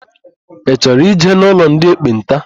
Ị chọrọ ịje n'ụlọ ndị ekpenta?